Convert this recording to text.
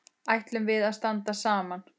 Ætlum við að standa saman?